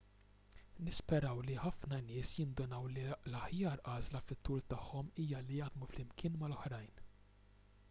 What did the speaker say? nisperaw li ħafna nies jindunaw li l-aħjar għażla fit-tul tagħhom hija li jaħdmu flimkien mal-oħrajn